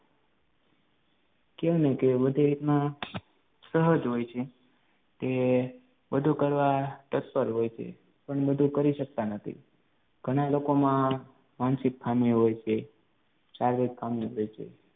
કેમ કે બધી રીતના સહજ હોય છે તે બધું કરવા તત્પર હોય છે પણ બધું કરી શકતા નથી ઘણા લોકોમાં માનસિક ખામી હોય છે, શારીરિક ખામી હોય છે